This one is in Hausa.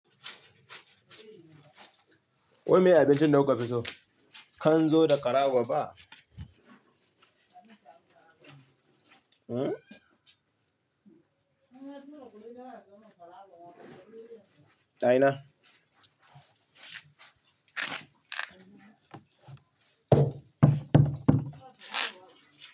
Wai meye abincin da kuka fi so? Kanzo da ƙarago ba? A ina?